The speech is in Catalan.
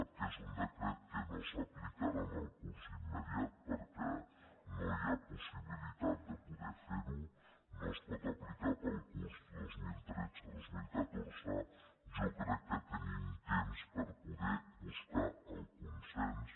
com que és un decret que no s’aplicarà en el curs immediat perquè no hi ha pos·sibilitat de poder fer·ho no es pot aplicar per al curs dos mil tretze·dos mil catorze jo crec que tenim temps per poder buscar el consens